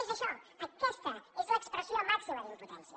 és això aquesta és l’expressió màxima d’impotència